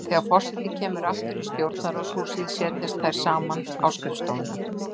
Þegar forseti kemur aftur í Stjórnarráðshúsið setjast þær saman á skrifstofuna.